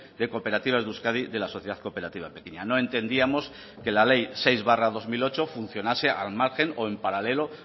de cooperativas de euskadi de la sociedad cooperativa pequeña no entendíamos que la ley seis barra dos mil ocho funcionase al margen o en paralelo